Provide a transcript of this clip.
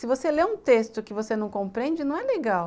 Se você lê um texto que você não compreende, não é legal.